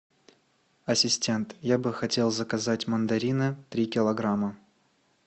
ассистент я бы хотел заказать мандарины три килограмма